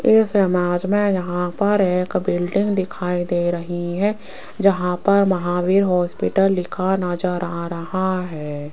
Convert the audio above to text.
इस इमेज में यहां पर एक बिल्डिंग दिखाई दे रही है जहां पर महावीर हॉस्पिटल लिखा नजर रहा है।